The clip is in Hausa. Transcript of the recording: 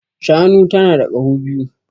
Shanu tana da kaho biyu